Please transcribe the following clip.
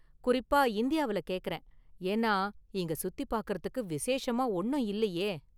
குறிப்பா இந்தியாவுல கேக்கறேன், ஏன்னா இங்க சுத்தி பாக்கறதுக்கு விசேஷமா ஒன்னும் இல்லையே!